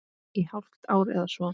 Í hálft ár eða svo.